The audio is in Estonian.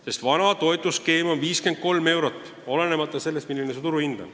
Sest vana toetusskeem on 53 eurot olenemata sellest, milline on turuhind.